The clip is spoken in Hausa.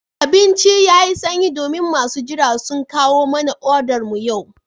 Abincin yayi sanyi domin masu jira sun kawo mana odar mu yau